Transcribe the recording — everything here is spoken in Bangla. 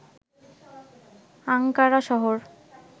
আংকারা শহর